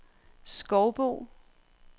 Skovbo